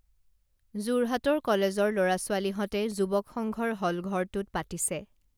যোৰহাটৰ কলেজৰ লৰাছোৱালীহঁতে যুৱক সংঘৰ হলঘৰটোত পাতিছে